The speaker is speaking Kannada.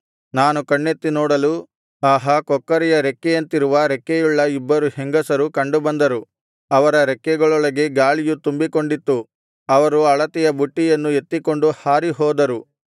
ನಾನು ಕಣ್ಣೆತ್ತಿ ನೋಡಲು ಆಹಾ ಕೊಕ್ಕರೆಯ ರೆಕ್ಕೆಯಂತಿರುವ ರೆಕ್ಕೆಯುಳ್ಳ ಇಬ್ಬರು ಹೆಂಗಸರು ಕಂಡುಬಂದರು ಅವರ ರೆಕ್ಕೆಗಳೊಳಗೆ ಗಾಳಿಯು ತುಂಬಿಕೊಂಡಿತ್ತು ಅವರು ಅಳತೆಯ ಬುಟ್ಟಿಯನ್ನು ಎತ್ತಿಕೊಂಡು ಹಾರಿ ಹೋದರು